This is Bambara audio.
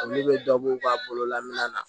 A ne bɛ dɔbɔ a bolo lamina